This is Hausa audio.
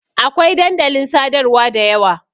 Akwai dandalin sadarwa da yawa.